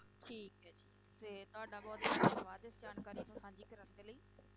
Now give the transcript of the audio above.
ਠੀਕ ਹੈ ਜੀ ਤੇ ਤੁਹਾਡਾ ਬਹੁਤ ਬਹੁਤ ਧੰਨਵਾਦ ਇਸ ਜਾਣਕਾਰੀ ਨੂੰ ਸਾਂਝੀ ਕਰਨ ਦੇ ਲਈ।